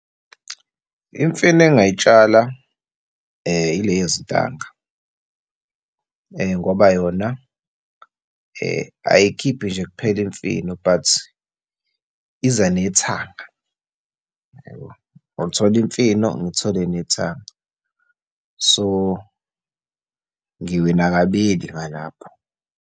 Imfino engay'tshala ile yezintanga, ngoba yona ayikhiphi nje kuphela imfino but iza nethanga, yabo. Ngiyothola imfino, ngithole nethanga. So, ngiwina kabili ngalapho.